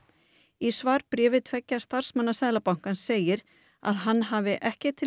í svarbréfi tveggja starfsmanna Seðlabankans segir að hann hafi ekki til